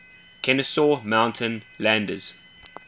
kenesaw mountain landis